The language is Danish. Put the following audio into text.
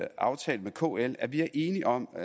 aftalt med kl at vi er enige om at